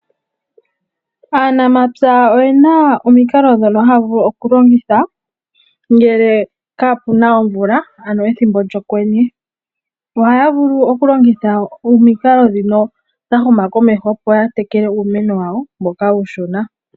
Aanamapya oyena omikalo dhono haavulu okulongitha ngele kaapuna omvula ano ethimbo lyokwenye, ohaya vulu okulongitha omikalo ndhino dha huma komeho opo yatekele uumeno wawo mboka uushona.